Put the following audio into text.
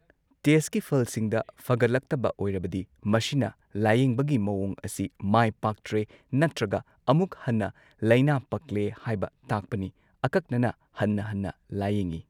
ꯇꯦꯁꯠꯀꯤ ꯐꯜꯁꯤꯡꯗ ꯐꯒꯠꯂꯛꯇꯕ ꯑꯣꯏꯔꯕꯗꯤ, ꯃꯁꯤꯅ ꯂꯥꯌꯦꯡꯕꯒꯤ ꯃꯋꯣꯡ ꯑꯁꯤ ꯃꯥꯏ ꯄꯥꯛꯇ꯭ꯔꯦ ꯅꯠꯇꯔꯒ ꯑꯃꯨꯛ ꯍꯟꯅ ꯂꯩꯅꯥ ꯄꯛꯂꯦ ꯍꯥꯏꯕ ꯇꯥꯛꯄꯅꯤ ꯑꯀꯛꯅꯅ ꯍꯟꯅ ꯍꯟꯅ ꯂꯥꯌꯦꯡꯉꯤ꯫